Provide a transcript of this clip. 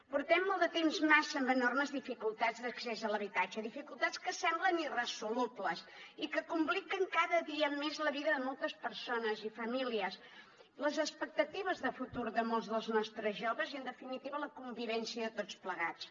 portem molt de temps massa amb enormes dificultats d’accés a l’habitatge dificultats que semblen irresolubles i que compliquen cada dia més la vida de moltes persones i famílies les expectatives de futur de molts dels nostres joves i en definitiva la convivència de tots plegats